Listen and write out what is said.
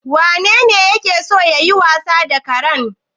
Wanene yake so yayi wasa da karen?